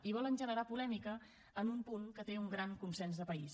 i volen generar polèmica en un punt que té un gran consens de país